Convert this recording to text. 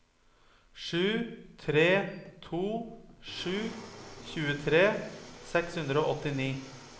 sju tre to sju tjuetre seks hundre og åttini